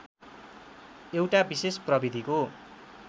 एउटा विशेष प्रविधिको